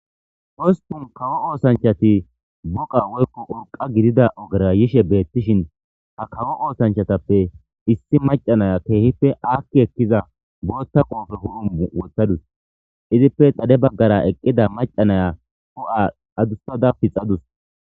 Oosspun kawo ooththanchati uurqqa gididda oogera yizayssi bettishin ha kawo ooththanchatappe issi macca na'iiya kehippe aaki eekiza bootha qoope huphphe bolla woththaddussu izippe xaade baggara eeqida maccasiya huphphe addussada piixadussu.